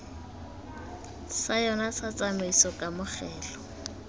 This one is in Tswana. sa yona sa tshiaimiso kamogelo